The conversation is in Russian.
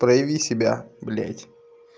прояви себя блядь